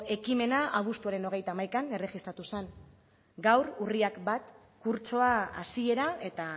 ekimena abuztuaren hogeita hamaikan erregistratu zen gaur urriak bat kurtsoa hasiera eta